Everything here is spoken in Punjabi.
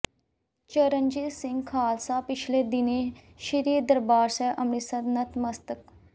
ਚਰਨਜੀਤ ਸਿੰਘ ਖਾਲਸਾ ਪਿਛਲੇ ਦਿਨੀਂ ਸ਼ੀ੍ਰ ਦਰਬਾਰ ਸਾਹਿਬ ਅਮ੍ਰਿਤਸਰ ਨਤ ਮਸਤਕ